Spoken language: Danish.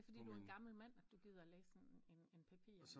Men det er fordi du er en gammel mand at du giver læse en en papir